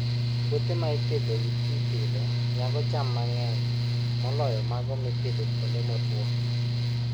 Puothe ma ipidho gi pi pile nyago cham mang'eny moloyo mago mopidh kuonde motwo.